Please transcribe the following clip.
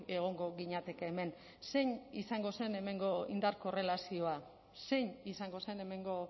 egongo ginateke hemen zein izango zen hemengo indar korrelazioa zein izango zen hemengo